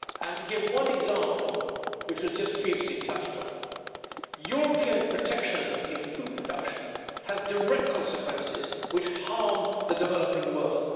To give one example, which was just previously touched upon, European protectionism in food production has direct consequences which harm the developing world.